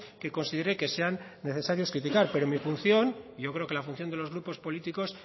que considere que sean necesarios criticar pero mi función y yo creo que la función de los grupos políticos